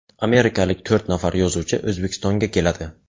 Amerikalik to‘rt nafar yozuvchi O‘zbekistonga keladi.